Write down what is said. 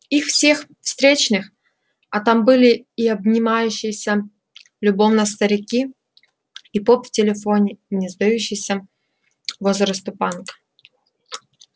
из всех встречных а там были и обнимающиеся любовно старики и поп в телефоне и не сдающийся возраста панк